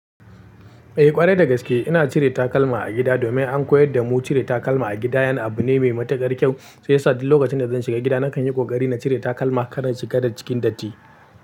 Eh ƙwarai da gaske ina cire takalma a gida domin an koyar da mu cire takalma a gida yan abu ne mai matuƙar kyau shi yada fuk lokacin da zan shiga gida nakan yi ƙoƙari na cire takalma kar na shiga da cikin datti.